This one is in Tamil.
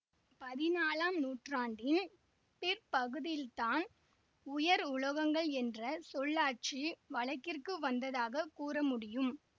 பதினாலாம் நூற்றாண்டின் பிற்பகுதியில்தான் உயர் உலோகங்கள் என்ற சொல்லாட்சி வழக்கிற்கு வந்ததாக கூறமுடியும்